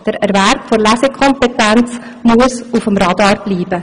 Der Erwerb der Lesekompetenz muss auf dem Radar bleiben.